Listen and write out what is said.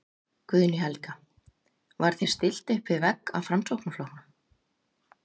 Guðný Helga: Var þér stillt uppvið vegg af Framsóknarflokknum?